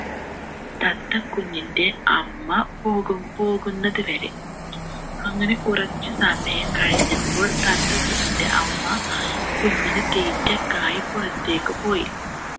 തത്ത കുഞ്ഞിൻ്റെ അമ്മ പോകു പോകുന്നത് വരെ അങ്ങനെ കുറച്ച് സമയം കഴിഞ്ഞപ്പോൾ തത്ത കുഞ്ഞിൻ്റെ അമ്മ കുഞ്ഞിന് തീറ്റക്കായി പുറത്തേക്ക് പോയി